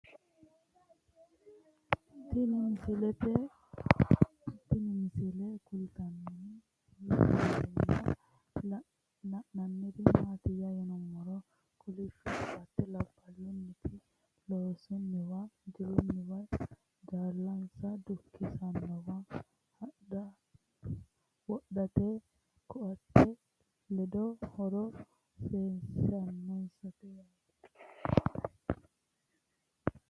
Tinni misile kulittanni noorrinna la'nanniri maattiya yinummoro kolishsho koatte labbalunnitti loosinniwa ,jilunniwa ,jaallansa dukkisannowa, wodhitte koottette ledo horo seesissanonsa yaatte